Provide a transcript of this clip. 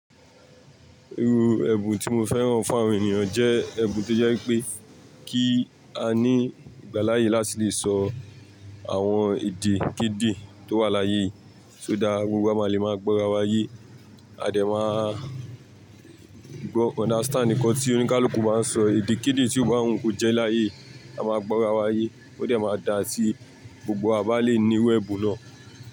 Iru ẹ̀bùn tí mo fẹ́ràn fún àwọn ènìyàn jẹ́ ẹ̀bùn tó jẹ́ pé kí a ní ìgbáláyé láti lè sọ àwọn èdè kede tó wà láyé yi, so that gbogbo wa máa le máa gbọ́ra wa yé. A dẹ̀ máa gbọ́ understand nkan tí oníkálukú máa ń sọ èdè kede tí ò ba wun ko jẹ́ láyé, a máa gbọ́ra wa yé ó dẹ̀ máa dá tí gbogbo wa bá lè ní iru ẹbun náà.